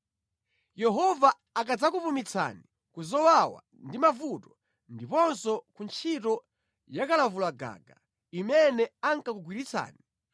Yehova akadzakupumitsani ku zowawa ndi mavuto, ndiponso kuntchito yakalavulagaga imene ankakugwiritsani,